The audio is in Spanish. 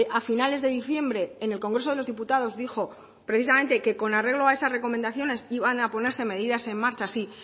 a finales de diciembre en el congreso de los diputados dijo precisamente que con arreglo a esas recomendaciones iban a ponerse medidas en marcha sí